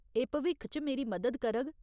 एह् भविक्ख च मेरी मदद करग ।